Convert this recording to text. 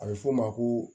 A bɛ f'o ma ko